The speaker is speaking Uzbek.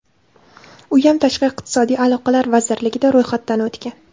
Uyam tashqi iqtisodiy aloqalar vazirligida ro‘yxatdan o‘tgan.